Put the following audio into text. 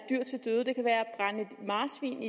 marsvin